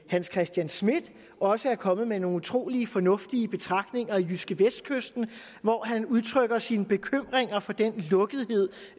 hans christian schmidt også er kommet med nogle utrolig fornuftige betragtninger i jydskevestkysten hvor han har udtrykt sine bekymringer for den lukkethed